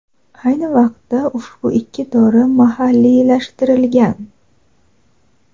Ayni vaqtda ushbu ikki dori mahalliylashtirilgan.